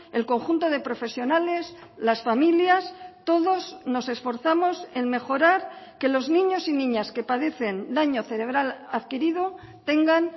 el conjunto de profesionales las familias todos nos esforzamos en mejorar que los niños y niñas que padecen daño cerebral adquirido tengan